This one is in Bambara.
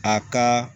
A ka